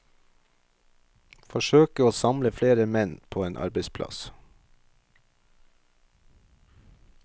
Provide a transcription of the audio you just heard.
Forsøke å samle flere menn på en arbeidsplass.